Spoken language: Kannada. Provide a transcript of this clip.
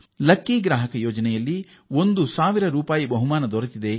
ಲಕ್ಕಿ ಗ್ರಾಹಕ ಯೋಜನೆ ಅಡಿ ಅವರಿಗೆ 1000 ರೂಪಾಯಿ ಬಹುಮಾನ ಬಂತಂತೆ